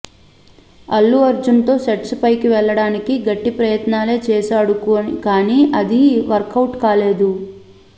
అల్లు అర్జున్ తో సెట్స్ పైకి వెళ్లడానికి గట్టి ప్రయత్నాలే చేశాడుకానీ అదీ వర్కౌట్ కాలేదు